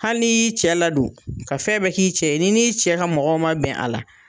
Hali n'i y'i cɛ ladon ka fɛn bɛɛ k'i cɛ ye ni n'i cɛ ka mɔgɔw ma bɛn a la